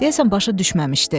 Deyəsən başa düşməmişdi.